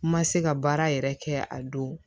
Ma se ka baara yɛrɛ kɛ a don